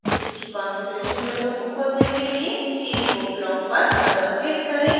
इसकी configuration window को खोलने के लिए cscope ब्लॉक पर डबल क्लिक करें